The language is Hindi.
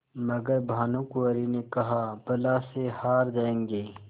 मगर भानकुँवरि ने कहाबला से हार जाऍंगे